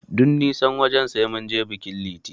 Duk nisan wajen, sai mun je bikin Liti.